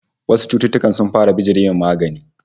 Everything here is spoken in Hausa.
Wasu cututtukan sun fara bijire wa magani